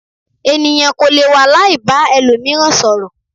Ènìyàn kò lè wà láì ba ẹlòmíràn sọ̀rọ̀.